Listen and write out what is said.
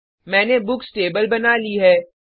मैंने books table बना ली है